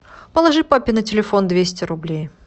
положи папе на телефон двести рублей